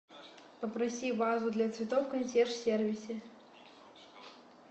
попроси вазу для цветов в консьерж сервисе